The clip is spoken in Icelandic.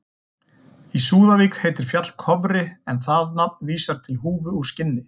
Í Súðavík heitir fjall Kofri en það nafn vísar til húfu úr skinni.